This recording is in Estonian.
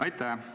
Aitäh!